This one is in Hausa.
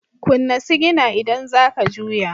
Kunna sigina idan za ka juya.